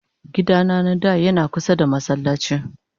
gida na na da Yana kusa da masallaci.